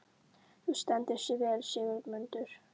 Þú stendur þig vel, Sigurmundur!